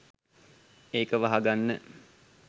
ඒක වහගන්න